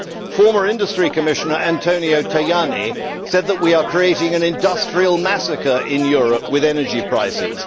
Former Industry Commissioner Antonio Tajani said that we are creating an industrial massacre in Europe with energy prices.